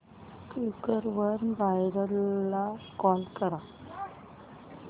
Quikr वर buyer ला call कर